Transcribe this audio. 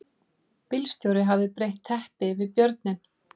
Bílstjórinn hafði breitt teppi yfir björninn